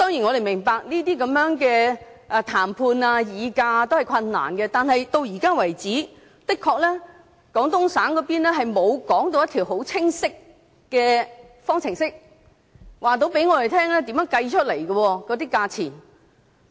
我們當然明白談判、議價是困難的，但廣東省方面至今的確沒有說出一條很清晰的方程式，告訴我們價錢是怎樣計算出來的。